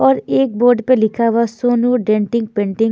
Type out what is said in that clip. और एक बोर्ड पर लिखा हुआ सोनू डेंटिंग पेंटिंग --